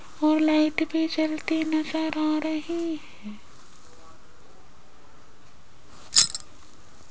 और लाइट भी जलती नजर आ रही है।